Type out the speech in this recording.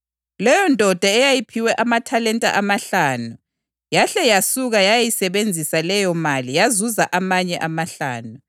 Leyondoda eyayiphiwe amathalenta amahlanu yahle yasuka yayayisebenzisa leyomali yazuza amanye amahlanu.